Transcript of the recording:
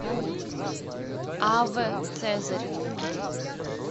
аве цезарь